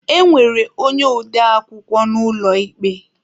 E nwere onye ode akwukwọ n'ụlọ ikpe.